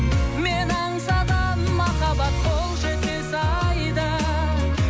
мен аңсаған махаббат қол жетпес айда